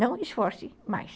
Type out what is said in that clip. Não esforce mais.